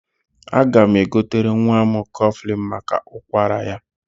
Aga m egotere nwa m kọflịn maka ụkwara ya.